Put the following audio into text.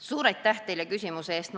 Suur aitäh teile küsimuse eest!